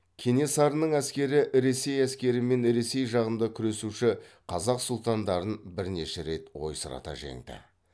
кенесарының әскері ресей әскері мен ресей жағында күресуші қазақ сұлтандарын бірнеше рет ойсырата жеңді